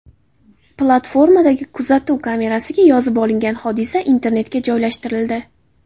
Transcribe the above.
Platformadagi kuzatuv kamerasiga yozib olingan hodisa internetga joylashtirildi.